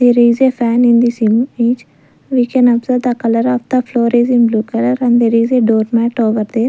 there is a fan in this image we can observe the colour of the floor is in blue colour and there is a door mat over there.